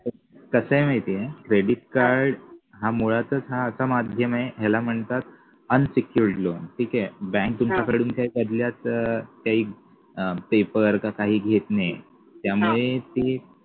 कस आहे माहितीये credit card हा मुळातच हा असा माध्यम आहे याला म्हणतात unsecured loan ठीके बँक तुमच्याकडून त्या बदल्यात अं काही paper का काही घेत नाही त्यामुळे ते